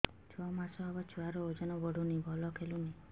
ଛଅ ମାସ ହବ ଛୁଆର ଓଜନ ବଢୁନି ଭଲ ଖେଳୁନି